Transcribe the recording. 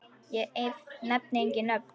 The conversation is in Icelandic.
Ég nefni engin nöfn.